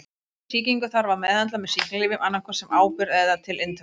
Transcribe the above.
Slíka sýkingu þarf að meðhöndla með sýklalyfjum annað hvort sem áburð eða til inntöku.